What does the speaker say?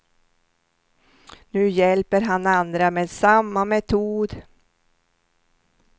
Nu hjälper han andra med samma metod.